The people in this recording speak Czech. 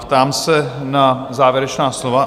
Ptám se na závěrečná slova.